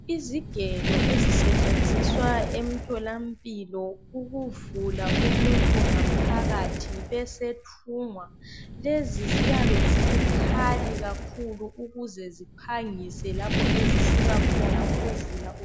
Izigelo ezisetshenziswa emthola mpilo ukuvula umuntu ngaphakathi ebesethungwa lezi ziyabe zibukhali kakhulu ukuze ziphangise lapho ezisika khona ukuvula umuntu